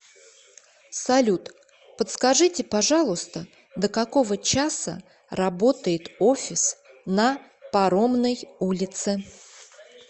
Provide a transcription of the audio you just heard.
салют подскажите пожалуйста до какого часа работает офис на паромной улице